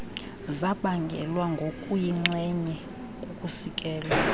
zabangelwa ngokuyinxenye kukusikelwa